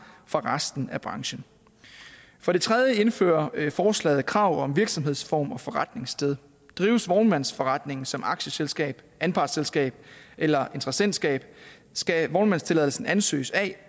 fra resten af branchen for det tredje indfører forslaget krav om virksomhedsform og forretningssted drives vognmandsforretningen som et aktieselskab anpartsselskab eller interessentskab skal vognmandstilladelsen ansøges af